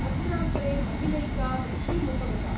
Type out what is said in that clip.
अत्रान्तरे महिलैका मृत्युमुपगता।